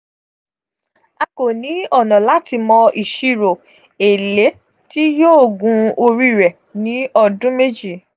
a ko ni ona lati mo isiro ele ti yoo gun ori re ni odun meji.